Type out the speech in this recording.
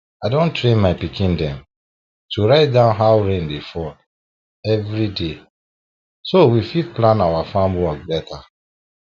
i don train my pikin dem to write down how rain dey fall every day so we fit plan our farm work better